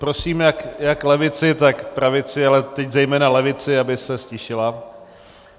Prosím jak levici, tak pravici, ale teď zejména levici, aby se ztišila.